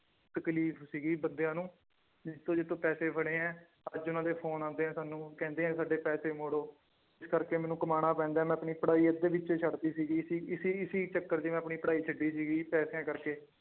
ਤਕਲੀਫ਼ ਸੀਗੀ ਬੰਦਿਆਂ ਨੂੰ, ਜਿੱਥੋਂ ਜਿੱਥੋਂ ਪੈਸੇ ਫੜੇ ਹੈ ਅੱਜ ਉਹਨਾਂ ਦੇ ਫ਼ੋਨ ਆਉਂਦੇ ਹੈ ਸਾਨੂੰ ਕਹਿੰਦੇ ਹੈ ਸਾਡੇ ਪੈਸੇ ਮੋੜੋ, ਇਸ ਕਰਕੇ ਮੈਨੂੰ ਕਮਾਉਣਾ ਪੈਂਦਾ ਹੈ ਮੈਂ ਆਪਣੀ ਪੜ੍ਹਾਈ ਅੱਧੇ ਵਿੱਚ ਛੱਡ ਦਿੱਤੀ ਸੀਗੀ ਇਸੀ ਇਸੀ ਇਸੀ ਚੱਕਰ ਚ ਮੈਂ ਆਪਣੀ ਪੜ੍ਹਾਈ ਛੱਡੀ ਸੀਗੀ ਪੈਸਿਆਂ ਕਰਕੇ।